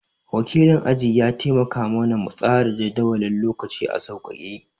Wakilin aji ya taimaka ma na mu tsara jadawalin lokaci a sauƙake